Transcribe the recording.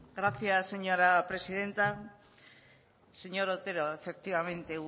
gracias señora presidenta señor otero efectivamente